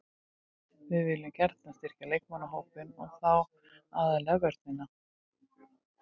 Við viljum gjarnan styrkja leikmannahópinn og þá aðallega vörnina.